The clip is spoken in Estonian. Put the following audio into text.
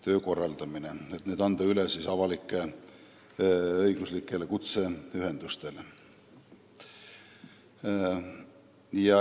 Eesmärk on anda need ülesanded üle avalik-õiguslikele kutseühendustele.